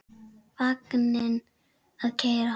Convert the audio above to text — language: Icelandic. Vagninn að keyra.